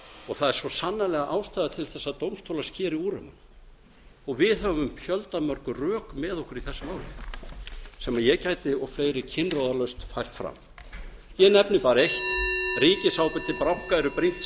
og það er svo sannarlega ástæða til þess að dómstólar skeri úr um það við höfum fjöldamörg rök með okkur í þessu máli sem ég gæti og fleiri kinnroðalaust fært fram ég nefni bara eitt ríkisábyrgð til banka eru brýnt samkeppnis